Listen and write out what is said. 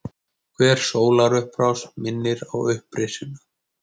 Hver sólarupprás minnir á upprisuna.